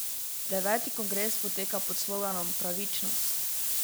Deveti kongres poteka pod sloganom Pravičnost!